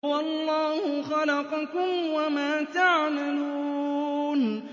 وَاللَّهُ خَلَقَكُمْ وَمَا تَعْمَلُونَ